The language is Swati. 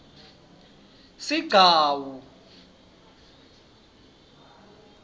sigcawu